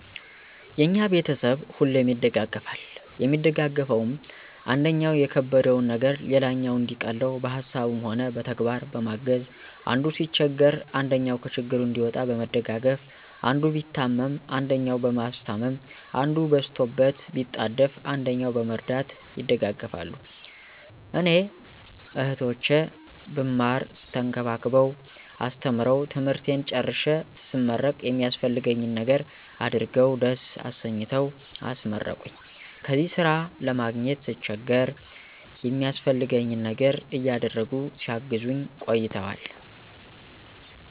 የኛ ቤተሰብ ሁሌም ይደጋገፋል የሚደጋገፈዉም, አንደኛዉ የከበደዉን ነገር ሌላኛዉ እንዲቀለዉ በሀሳብም ሆነ በተግባር በማገዝ፣ አንዱ ሲቸገር አንደኛዉ ከችግሩ እንዲወጣ በመደጋገፍ፣ አንዱ ቢታመም አንደኛዉ በማስታመም፣ አንዱ በስቶበት ቢጣደፍ አንደኛዉ በመርዳት ይደጋገፋሉ። እኔ "እህቶቼ ብማር ተንከባክበዉ አስተምረዉ ትምህርቴን ጨርሴ ስመረቅ የሚያስፈልገኝን ነገር አድርገዉ ደስ አሰኝተዉ አስመረቁኝ"ከዚያ ስራ ለማግኘት ስቸገር የሚያስፈልገኝን ነገር እያደረጉ ሲያግዙኝ ቆይተዋል።